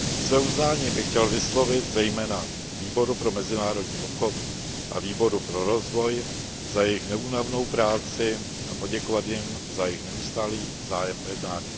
Své uznání bych chtěl vyslovit zejména Výboru pro mezinárodní obchod a Výboru pro rozvoj za jejich neúnavnou práci a poděkovat jim za jejich neustálý zájem o jednání.